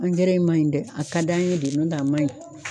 Angɛrɛ in maɲi dɛ a ka d'an ye de n'o tɛ a maɲi